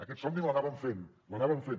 aquest somni l’anàvem fent l’anàvem fent